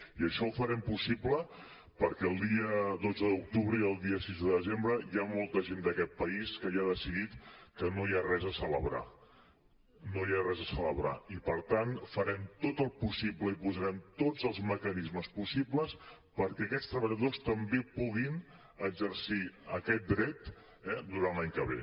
i això ho farem possible perquè el dia dotze d’octubre i el dia sis de desembre hi ha molta gent d’aquest país que ja ha de·cidit que no hi ha res a celebrar no hi ha res a celebrar i per tant farem tot el pos·sible i posarem tots els mecanismes possibles perquè aquests treballadors també pu·guin exercir aquest dret durant l’any que ve